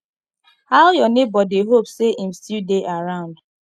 how your neighbor dey hope say im still dey around